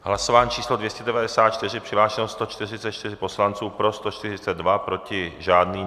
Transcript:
Hlasování číslo 294, přihlášeno 144 poslanců, pro 142, proti žádný.